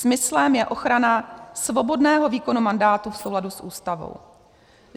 Smyslem je ochrana svobodného výkonu mandátu v souladu s Ústavou.